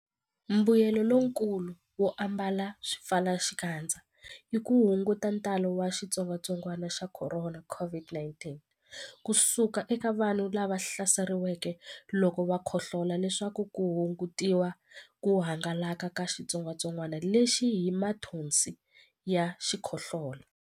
Mbuyelonkulu wo ambala swipfalaxikandza i ku hunguta ntalo wa xitsongwantsongwana xa Khorona, COVID-19, ku suka eka vanhu lava hlaseriweke loko va khohlola leswaku ku hungutiwa ku hangalaka ka xitsongwantsongwana lexi hi mathonsi ya xikhohlola.